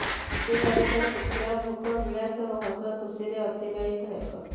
ପାରିବାରିକ କ୍ଷେତ୍ର ଭୋଗ ବିଳାସ ଓ ହସ ଖୁସିରେ ଅତିବାହିତ ହେବ